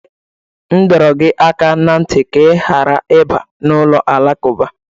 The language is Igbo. M dọrọ gị aka ná ntị ka ị ghara ịbanye n'ụlọ alakụba!